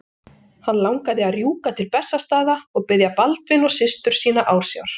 Hann langaði að rjúka til Bessastaða og biðja Baldvin og systur sína ásjár.